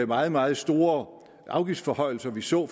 meget meget store afgiftsforhøjelser vi så